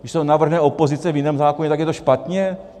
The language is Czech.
Když to navrhne opozice v jiném zákoně, tak je to špatně?